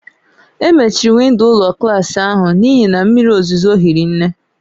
E mechiri windo ụlọ klas ahụ n'ihi na mmiri ozuzo hiri nne